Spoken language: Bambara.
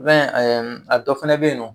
I b'a ye a dɔ fana bɛ yen nɔ.